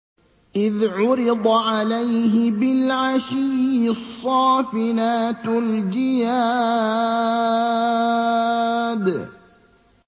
إِذْ عُرِضَ عَلَيْهِ بِالْعَشِيِّ الصَّافِنَاتُ الْجِيَادُ